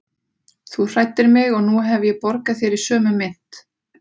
Þú hræddir mig og nú hef ég borgað þér í sömu mynt.